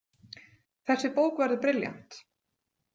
Þessi bók verður brilljant.